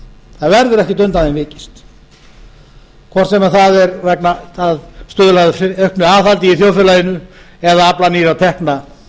það verður ekki undan því vikist hvort sem það er til að stuðla að auknu aðhaldi í þjóðfélaginu eða afla nýrra tekna tryggja